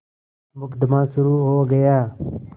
मुकदमा शुरु हो गया